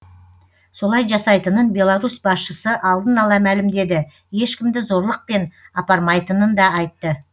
солай жасайтынын беларусь басшысы алдын ала мәлімдеді ешкімді зорлықпен апармайтынын да айтты